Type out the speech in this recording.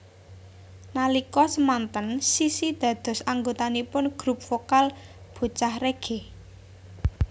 Nalika semanten Sissy dados anggotanipun grup vokal Bocah Reggae